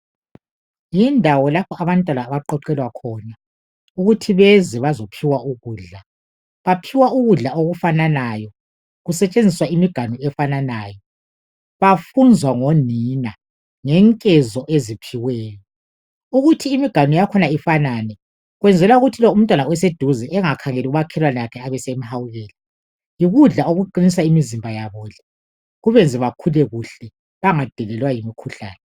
Yindawo lapho abantu abaqoqelwa khona ukuthi beze bazophiwa ukudla baphiwa ukudla okufanayo kusetshenziswa imiganu efananayo bafunzwa ngonina ngenkezo eziphiweyo ukuthi imiganu yakhona ifanane kwenzela ukuthi lo umntwana oseduze engakhangeli umakhelwane wakhe ebesehawukela yikudla okuqinisa imizimba yabo kubenze bakhule kuhle bangadelelwa yimikhuhlane.